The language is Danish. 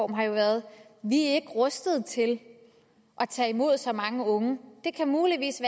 har jo været vi er ikke rustet til at tage imod så mange unge det kan muligvis